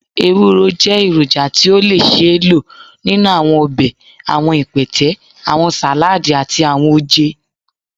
ewuro jẹ eroja ti o le ṣee lo ninu awọn ọbẹ, awọn ipẹtẹ, awọn saladi, ati awọn oje.